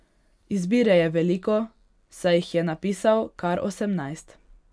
Izbire je veliko, saj jih je napisal kar osemnajst.